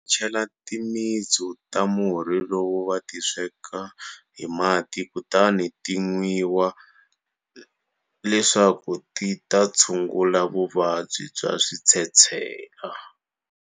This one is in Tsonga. Cela timitsu ta murhi lowu vati sweka hi mati kutani ti nwiwa leswaku ti ta tshungula vuvabyi bya switshetshela.